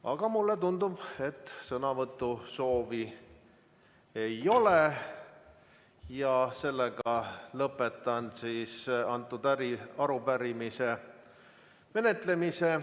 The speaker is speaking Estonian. Aga mulle tundub, et sõnavõtusoovi ei ole, ja ma lõpetan selle arupärimise menetlemise.